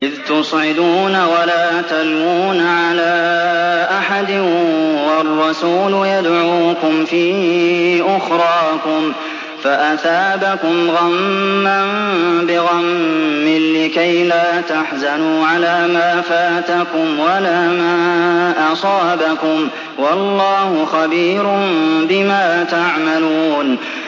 ۞ إِذْ تُصْعِدُونَ وَلَا تَلْوُونَ عَلَىٰ أَحَدٍ وَالرَّسُولُ يَدْعُوكُمْ فِي أُخْرَاكُمْ فَأَثَابَكُمْ غَمًّا بِغَمٍّ لِّكَيْلَا تَحْزَنُوا عَلَىٰ مَا فَاتَكُمْ وَلَا مَا أَصَابَكُمْ ۗ وَاللَّهُ خَبِيرٌ بِمَا تَعْمَلُونَ